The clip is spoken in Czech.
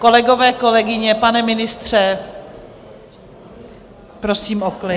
Kolegové, kolegyně, pane ministře, prosím o klid.